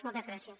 moltes gràcies